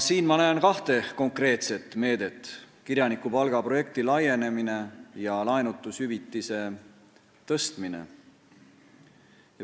Siin ma näen kahte konkreetset meedet: kirjanikupalga projekti laienemine ja laenutushüvitise tõstmine.